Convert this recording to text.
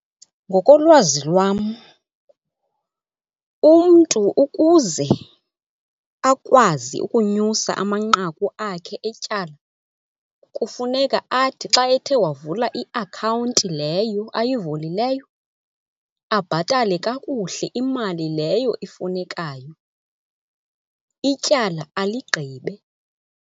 Ngokolwazi lwam umntu ukuze akwazi ukunyusa amanqaku akhe etyala, kufuneka athi xa ethe wavula iakhawunti leyo ayivulileyo abhatale kakuhle imali leyo ifunekayo. Ityala aligqibe.